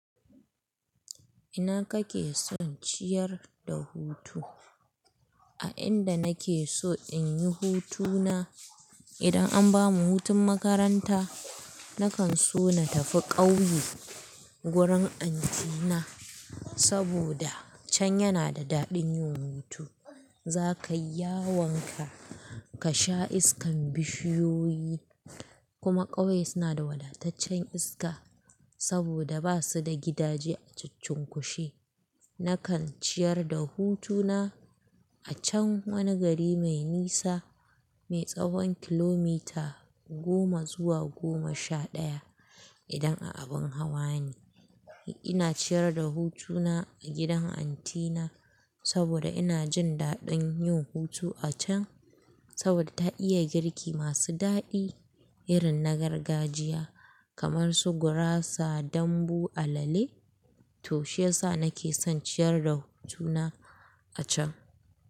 Ina kake son ciyar da hutu? A inda nake so in yi hutuna idan an bamu hutun makaranta, nakan so na tafi ƙauye wurin anti na saboda can yana da daɗin yin hutu. Za ka yi yawon ka, ka sha iskan bishiyoyi kuma ƙauye suna da wadataccen iska saboda ba su da gidaje a cuccunkushe. Nakan ciyar da hutuna a can wani gari mai nisa, mai tsahon kilomita goma zuwa goma sha ɗaya idan a abin hawani. Ina ciyar da hutuna a gidan anti na saboda ina jin daɗin yin hutu a can saboda ta iya girki masu daɗi irin na gargajiya kamar su gurasa, dambu, alale to shiyasa nake son ciyar da hutuna a can.